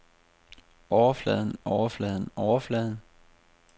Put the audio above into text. overfladen overfladen overfladen